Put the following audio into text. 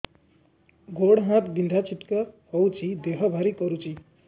ଗୁଡ଼ ହାତ ବିନ୍ଧା ଛିଟିକା ହଉଚି ଦେହ ଭାରି କରୁଚି